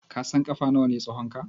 Ka san ƙafa nawa ne tsahonka?